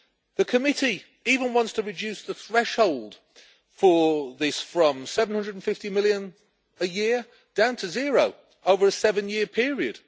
The committee even wants to reduce the threshold for this, from EUR 750 million a year down to zero, over a seven year period.